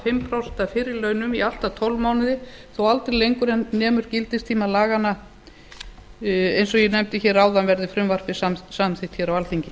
hálft prósent af fyrri launum í allt að tólf mánuði þó aldrei lengur en nemur gildistíma laganna eins og ég nefndi hér áðan verði frumvarpið samþykkt hér á alþingi